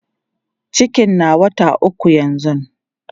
cikin na wata ukwu yanzun